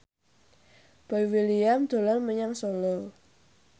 Boy William dolan menyang Solo